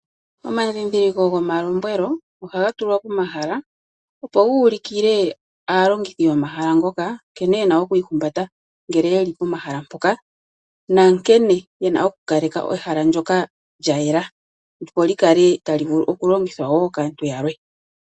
Omadhidhiliko gomalombwelo ohaga tulwa pomahala opo guulikile aalongithi yomahala ngoka nkene yena okwi ihumbata ngele ye li pomahala mpoka na nkene yena oku kaleka ehala ndyoka lya yela opo li kale talivulu okulongithwa kaantu yalwe.